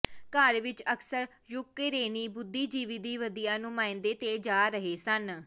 ਘਰ ਵਿੱਚ ਅਕਸਰ ਯੂਕਰੇਨੀ ਬੁੱਧੀਜੀਵੀ ਦੀ ਵਧੀਆ ਨੁਮਾਇੰਦੇ ਤੇ ਜਾ ਰਹੇ ਸਨ